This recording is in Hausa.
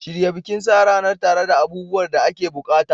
Shirya bikin sa ranar tare da abubuwan da ake buƙata.